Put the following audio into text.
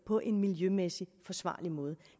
på en miljømæssigt forsvarlig måde